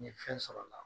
N ye fɛn sɔrɔ a la